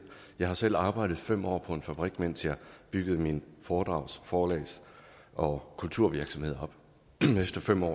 jeg har selv arbejdet fem år på en fabrik mens jeg byggede min foredrags forlags og kulturvirksomhed op efter fem år